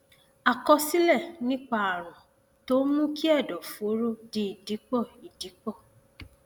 àkọsílẹ nípa ààrùn tó ń mú kí ẹdọfóró di ìdìpọ ìdìpọ